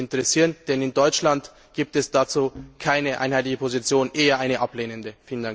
Das würde mich interessieren, denn in Deutschland gibt es dazu keine einheitliche Position, eher eine ablehnende.